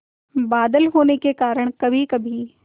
बादल होने के कारण कभीकभी